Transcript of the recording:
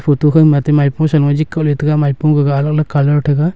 photo khao ma atte maipo sa ko jik kohla taga maipo gaga alag alag colour thaga.